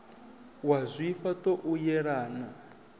wa zwifha ṱo u yelana